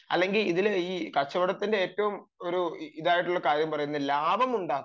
അല്ലെങ്കിൽ ഇതിൽ ഈ കച്ചവടത്തിന്റെ ഏറ്റവും ഒരു ഇതായിട്ടുള്ള കാര്യം പറയുന്നത് ലാഭം ഉണ്ടാക്കുക